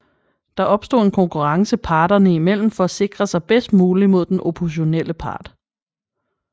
Der opstår en konkurrence parterne i mellem for at sikre sig bedst muligt mod den oppositionelle part